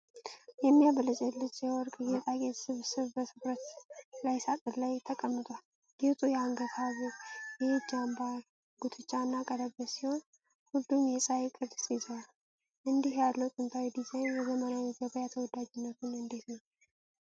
የሚያብለጨልጭ የወርቅ ጌጣጌጥ ስብስብ በትኩረት ቀይ ሳጥን ላይ ተቀምጧል። ጌጡ የአንገት ሐብል፣ የእጅ አምባር፣ ጉትቻ እና ቀለበት ሲሆን፣ ሁሉም የፀሐይን ቅርፅ ይዘዋል። እንዲህ ያለው ጥንታዊ ዲዛይን በዘመናዊው ገበያ ተወዳጅነቱ እንዴት ነው?